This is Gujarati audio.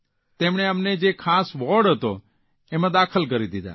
તેમણે અમને જે ખાસ વોર્ડ હતો તેમાં દાખલ કરી દીધા